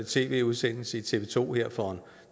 tv udsendelse i tv to her for